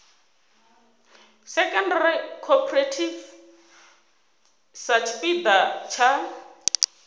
secondary cooperative sa tshipiḓa tsha